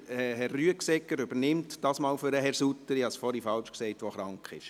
Herr Rüegsegger übernimmt für Herrn Sutter – ich hatte es vorhin falsch gesagt –, der krank ist.